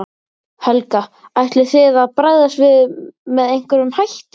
Helga: Ætlið þið að bregðast við með einhverjum hætti?